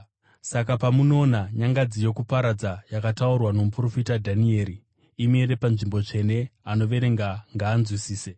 “Saka pamunoona ‘nyangadzi yokuparadza’ yakataurwa nomuprofita Dhanieri, imire panzvimbo tsvene, anoverenga ngaanzwisise,